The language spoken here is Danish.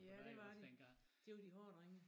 Ja det var det det var de hårde drenge